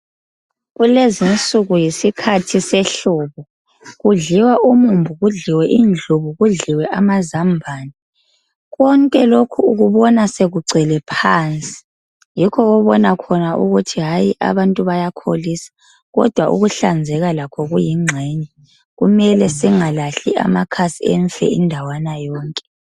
Kulezinsuku yisikhathi sehlobo, kudliwa umumbu, kudliwe indlubu, kudliwe amazambane. Konke lokhu ukubona sekugcwele phansi yikho obona khona ukuthi hayi abantu bayakholisa kodwa ukuhlanzeka lakho kuyingxenye kumele singalahli amakhasi emfe indawana yonke.